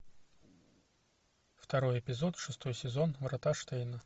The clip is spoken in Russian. второй эпизод шестой сезон врата штейна